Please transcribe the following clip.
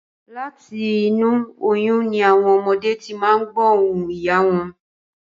Láti inú oyún ni àwọn ọmọdé ti máa n gbọ̀ ohùn ìyá wọn